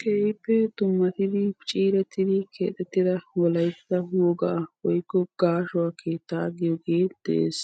Keehippe dummatidi ciirettidi keexettida wolaytta wogaa woykko gaashuwa keettaa giyogee de'es.